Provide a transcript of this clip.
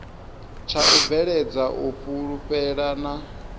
tsha u bveledza u fhulufhelana